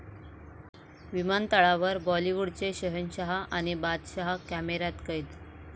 विमानतळावर बाॅलिवूडचे शहेनशहा आणि बादशहा कॅमेऱ्यात कैद